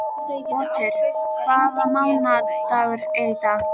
Otur, hvaða mánaðardagur er í dag?